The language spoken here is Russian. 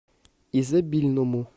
изобильному